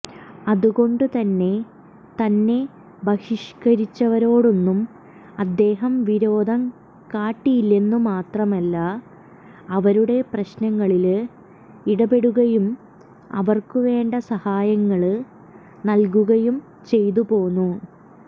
അതുകൊണ്ടുതന്നെ തന്നെ ബഹിഷ്കരിച്ചവരോടൊന്നും അദ്ദേഹം വിരോധം കാട്ടിയില്ലെന്നു മാത്രമല്ല അവരുടെ പ്രശ്നങ്ങളില് ഇടപെടുകയും അവര്ക്കു വേണ്ട സഹായങ്ങള് നല്കുകയും ചെയ്തുപോന്നു